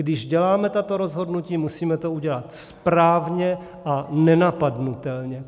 Když děláme tato rozhodnutí, musíme to udělat správně a nenapadnutelně.